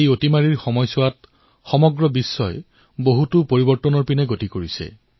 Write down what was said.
কৰোনাৰ এই সময়ছোৱাত সমগ্ৰ বিশ্বতে বহু পৰিৱৰ্তন হৈছে